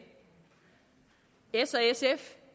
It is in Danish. s og sf